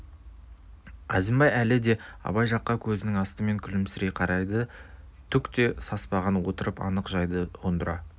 әзімбай әлі де абай жаққа көзінің астымен күлімсірей қарайды түк те саспастан отырып анық жайды ұғындыра